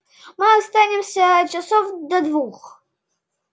мы останемся часов до двух